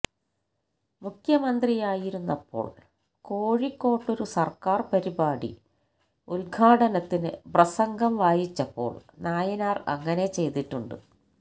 മുഖ്യമന്ത്രിയായിരുന്നപ്പോള് കോഴിക്കോട്ടൊരു സര്ക്കാര് പരിപാടി ഉദ്ഘാടനത്തിന് പ്രസംഗം വായിച്ചപ്പോള് നായനാര് അങ്ങനെ ചെയ്തിട്ടുണ്ട്